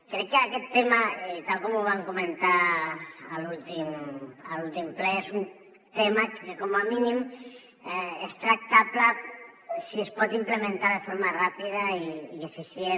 crec que aquest tema tal com vam comentar a l’últim ple és un tema que com a mínim és tractable si es pot implementar de forma ràpida i eficient